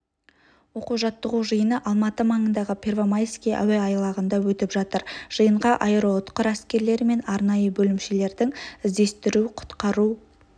оқу-жаттығу жиыны алматы маңындағы первомайский әуе айлағында өтіп жатыр жиынға аэроұтқыр әскерлері мен арнайы бөлімшелердің іздестіру-құтқару